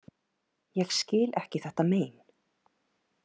Ég skil ekki þetta mein.